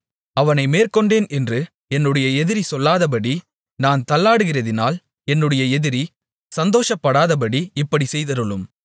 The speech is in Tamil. அவனை மேற்கொண்டேன் என்று என்னுடைய எதிரி சொல்லாதபடி நான் தள்ளாடுகிறதினால் என்னுடைய எதிரி சந்தோஷப்படாதபடி இப்படிச் செய்தருளும்